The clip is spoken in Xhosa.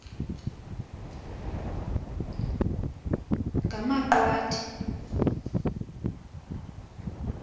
ngamaqwathi